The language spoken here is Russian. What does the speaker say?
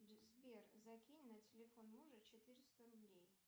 сбер закинь на телефон мужа четыреста рублей